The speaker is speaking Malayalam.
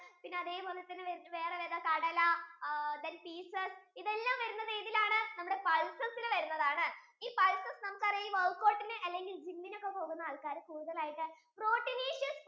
പിന്നെ അതേപോലെ തന്നെ വേറെ ഏതാ കടലാ then peases ഇതെല്ലം വരുന്നത് ഏതിലാണ് നമ്മുടെ pulses യിൽ വരുന്നതാണ് ഈ pulses നമുക്ക് അറിയാം ഈ workout ഇന് അല്ലെങ്കിൽ gim ഇന് പോകുന്ന ആൾകാർ കൂടുതൽ ആയിട്ടു protinisious food